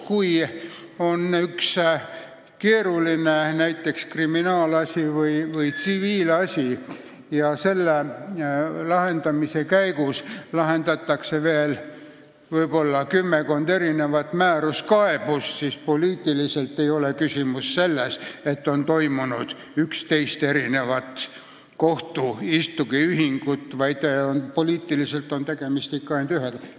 Kui on näiteks üks keeruline kriminaalasi või tsiviilasi ja selle lahendamise käigus lahendatakse veel kümmekond erinevat määruskaebust, siis poliitiku vaatepunktist ei ole tegu 11 kohtuasjaga, vaid ikka ainult ühega.